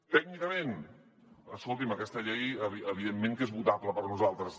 tècnicament escolti’m aquesta llei evidentment que és votable per nosaltres